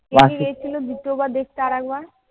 কে কে গেছিল দ্বিতীয়বার দেখতে আরেকবার?